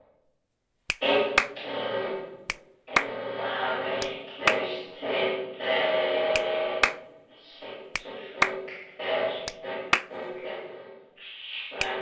Illa vitlaus, tautaði Siggi fúll vegna spurningar Svenna.